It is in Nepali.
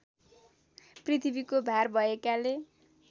पृथ्वीको भार भएकाले